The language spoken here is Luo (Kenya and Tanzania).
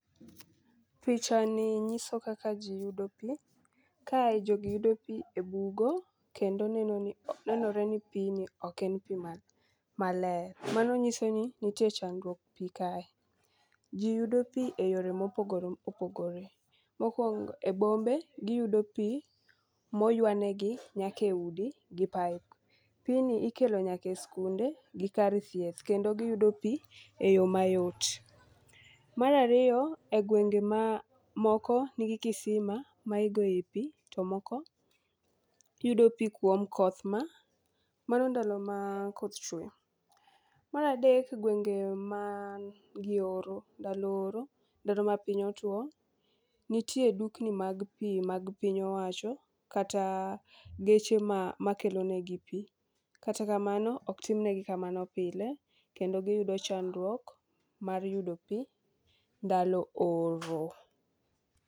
Pichani nyiso kaka ji yudo pi. Kae jogi yudo pi e bugo kendo nenore ni pini ok pi maler. Mano nyisoni nitie chandruok pi kae. Ji yudo pu eyore mopogore opogore. Mokuongo e bombe, giyudo pi moywanegi nyaka e udi gi pipe. Pini ikelo nyaka e skunde gi kar thieth kendo giyudo pi e yo mayot. Mar ariyo e gwenge mamoko nigi kisima ma igoe pi to moko yudo pi kuom koth ma mano ndalo ma koth chwe. Mar adek gwenge man gi oro ndalo oro, ndalo ma piny otuo, nitie dukni mag pi mag piny owacho, kata geche makelonegi pi, kata kamano ok timnegi kamano pile kendo giyudo chandruok mar yudo pi ndalo oro.